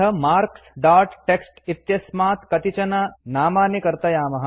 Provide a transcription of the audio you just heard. अथ marks dot TXT इत्यस्मात् कतिचन नामानि कर्तयामः